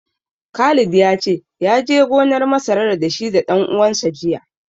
Khalid ya ce, ya je gonar masarar da shi da ɗan uwansa jiya.